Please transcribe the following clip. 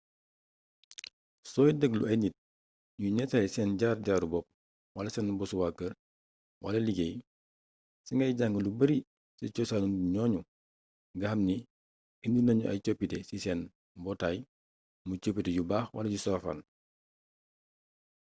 soy degglu ay nit ñuy nettali seen jaar-jaaru bopp wala seen bossu wa keur wala liggéey ci ngay jang lu bari ci coosan nu nit ñooñu nga xam ni indi nañu ay coppite ci seen mbootaay muy coppite yu baax wala yu safaan